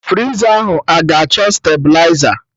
Friza ahụ a-ga achọ stabiliza?